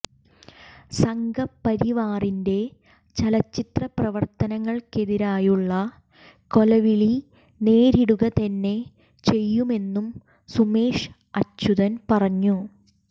സംഘ പരിവാറിന്റെ ചലച്ചിത്ര പ്രവർത്തകർക്കെതിരെയുള്ള കൊലവിളി നേരിടുക തന്നെ ചെയ്യുമെന്നും സുമേഷ് അച്യൂതൻ പറഞ്ഞു